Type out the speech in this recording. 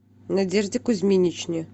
надежде кузьминичне